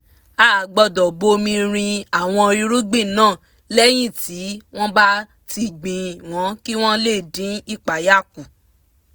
a gbọ́dọ̀ bomi rin àwọn irugbin náà lẹ́yìn tí wọ́n bá ti gbìn wọ́n kí wọ́n lè dín ìpayà kù